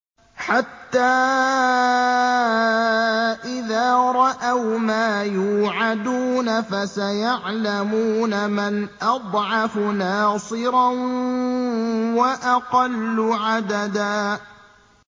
حَتَّىٰ إِذَا رَأَوْا مَا يُوعَدُونَ فَسَيَعْلَمُونَ مَنْ أَضْعَفُ نَاصِرًا وَأَقَلُّ عَدَدًا